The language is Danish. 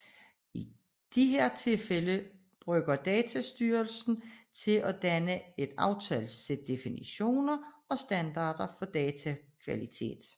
I disse tilfælde bruge datastyring til at danne et aftalt sæt definitioner og standarder for datakvalitet